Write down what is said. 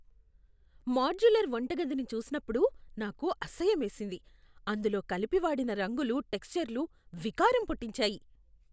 Modular వంటగదిని చూసినప్పుడు నాకు అసహ్యమేసింది. అందులో కలిపి వాడిన రంగులు, టెక్స్చర్లు వికారం పుట్టించాయి.